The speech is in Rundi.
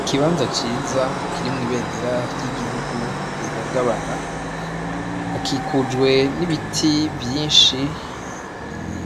Ikibanza ciza kirimwo ibendera ry'igihugu rihungabana hakikujwe n'ibiti vyinshi